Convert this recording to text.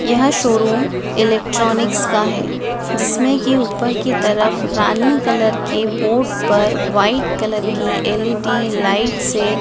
यह showroom electronics का है जिसमें कि ऊपर की तरफ रानी कलर के बोर्ड पर व्हाइट कलर की एल_इ_डी लाइट से--